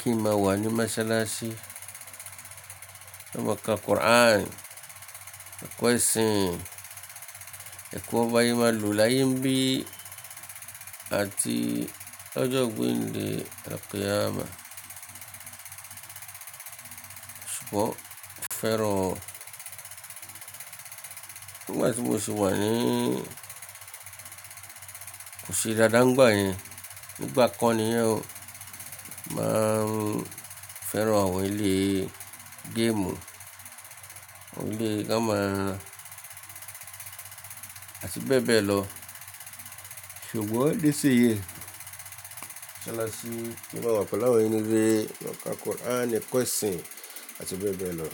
Kí n máa wà ní Masalasi, ka máa ka Quran, máa kọ́ ẹ̀sìn, ẹko ba se máa lo láyé ńbí àti ọjọ́ ogbín ni ẹkùn yama. Ṣùgbọ́n mo fẹ́ràn ọ́. Nígbà tí mo sì wà ní, kò ṣe dáadáa nígbà yẹn. Nígbà kan ni ẹ o máa ń fẹ́ràn àwọn ilé game, àwọn ilé kama àti bẹ́ẹ̀ bẹ́ẹ̀ lọ. Ṣùgbọ́n ni sí yii, Masalasi ló máa wà pẹ̀lú àwọn ìrírí máa ka Quran kọ́ ẹ̀sìn àti bẹ́ẹ̀ bẹ́ẹ̀ lọ.